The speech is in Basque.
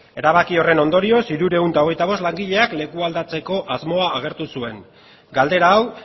erabaki horren ondorioz hirurehun eta hogeita bost langileak lekuz aldatzeko asmoa agertu zuen galdera hau